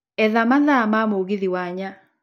etha mathaa ma mũgithi wa ny